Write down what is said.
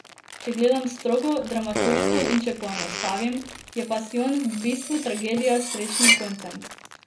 Če gledam strogo, dramaturško in če poenostavim, je pasijon v bistvu tragedija s srečnim koncem.